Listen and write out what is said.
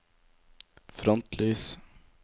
frontlys